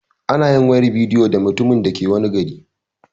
Anayin wayar bidiyo da mutumin da ke wani garin